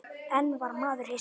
En var maður hissa?